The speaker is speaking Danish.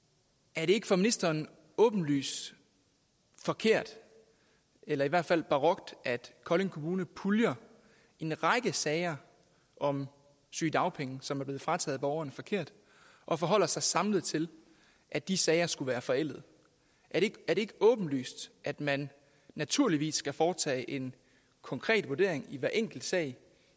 er det ikke for ministeren åbenlyst forkert eller i hvert fald barokt at kolding kommune puljer en række sager om sygedagpenge som er blevet frataget borgerne forkert og forholder sig samlet til at de sager skulle være forældede er det ikke åbenlyst at man naturligvis skal foretage en konkret vurdering i hver enkelt sag